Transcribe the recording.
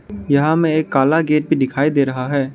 यहां हमें एक काला गेट भी दिखाई दे रहा है।